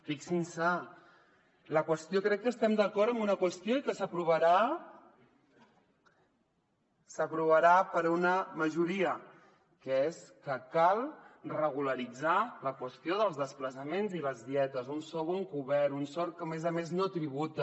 fixin s’hi crec que estem d’acord en una qüestió i que s’aprovarà per una majoria que és que cal regularitzar la qüestió dels desplaçaments i les dietes un sou encobert un sou que a més a més no tributa